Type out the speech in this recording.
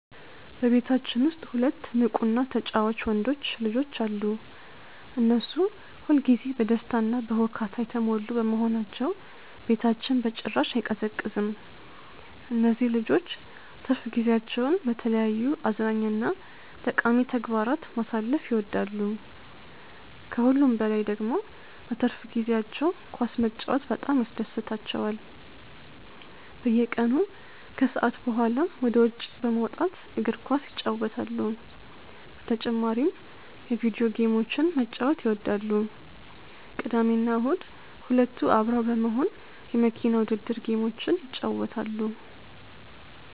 በቤታችን ውስጥ ሁለት ንቁ እና ተጫዋች ወንዶች ልጆች አሉ። እነሱ ሁል ጊዜ በደስታ እና በሁካታ የተሞሉ በመሆናቸው ቤታችን በጭራሽ አይቀዘቅዝም። እነዚህ ልጆች ትርፍ ጊዜያቸውን በተለያዩ አዝናኝ እና ጠቃሚ ተግባራት ማሳለፍ ይወዳሉ። ከሁሉም በላይ ደግሞ በትርፍ ጊዜያቸው ኳስ መጫወት በጣም ያስደስታቸዋል። በየቀኑ ከሰዓት በኋላ ወደ ውጭ በመውጣት እግር ኳስ ይጫወታሉ። በተጨማሪም የቪዲዮ ጌሞችን መጫወት ይወዳሉ። ቅዳሜና እሁድ ሁለቱ አብረው በመሆን የመኪና ውድድር ጌሞችን ይጫወታሉ።